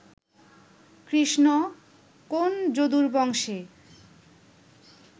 কৃষ্ণ, কোন্ যদুর বংশে